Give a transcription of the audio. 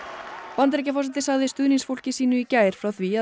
Bandaríkjaforseti sagði stuðningsfólki sínu í gær frá því að